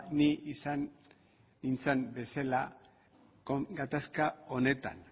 ni izan nintzan bezala gatazka honetan